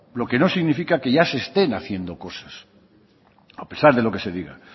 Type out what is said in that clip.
lo que no significa que ya se estén haciendo cosas a pesar de lo que se diga